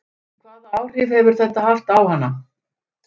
Hvaða áhrif hefur þetta haft á hana?